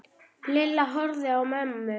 Lilla horfði á mömmu.